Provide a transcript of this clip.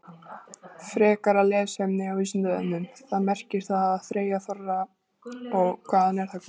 Frekara lesefni á Vísindavefnum: Hvað merkir það að þreyja þorra og hvaðan er það komið?